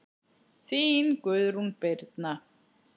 Þín, Guðrún Birna.